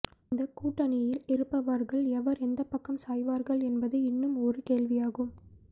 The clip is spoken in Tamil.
இந்த கூட்டணியில் இருப்பவர்கள் எவர் எந்த பக்கம் சாய்வார்கள் என்பது இன்னும் ஒரு கேள்வியாகும்